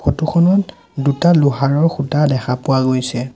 Photo খনত দুটা লোহাৰৰ খুঁটা দেখা পোৱা গৈছে।